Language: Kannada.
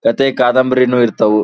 ಕತೆ ಕಾದಂಬರಿ ನೂ ಇರ್ತಾವು.